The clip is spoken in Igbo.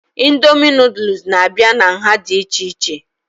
Indomie noodules n'abia n'nha dị ichè ichè